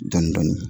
Dɔndɔni